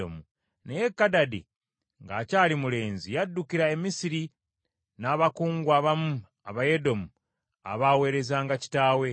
Naye Kadadi, ng’akyali mulenzi, yaddukira e Misiri n’abakungu abamu Abayedomu abaweerezanga kitaawe.